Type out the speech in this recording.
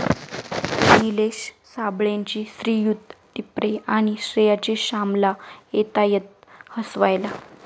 निलेश साबळेचे 'श्रीयुत टिपरे' आणि श्रेयाची 'श्यामल' येतायत हसवायला